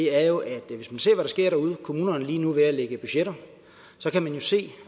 er jo at hvis vi ser hvad der sker derude kommunerne er lige nu ved at lægge budgetter så kan man se